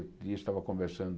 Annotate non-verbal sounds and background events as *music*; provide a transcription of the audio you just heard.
*unintelligible* estava conversando...